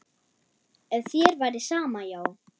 Ef þér væri sama, já.